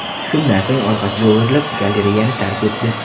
Shundan so‘ng orqasiga o‘girilib, galereyani tark etdi.